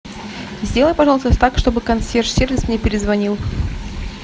сделай пожалуйста так чтобы консьерж сервис мне перезвонил